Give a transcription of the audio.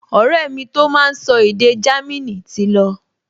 Ọ̀rẹ́ mi tó máa n sọ èdè Jámínì ti lọ